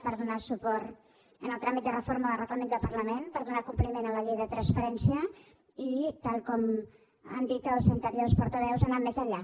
per donar suport al tràmit de reforma del reglament del parlament per donar compliment a la llei de transparència i tal com han dit els anteriors portaveus anar més enllà